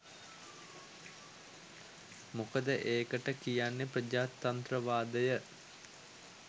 මොකද ඒකට කියන්නේ ප්‍රජාතන්ත්‍රවාදය